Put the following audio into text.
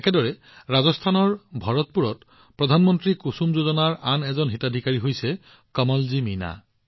একেদৰে ৰাজস্থানৰ ভৰতপুৰত কুসুম যোজনাৰ আন এজন হিতাধিকাৰী কৃষক হৈছে কমলজী মীনা